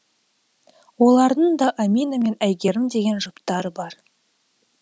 олардың да амина мен айгерім деген жұптары бар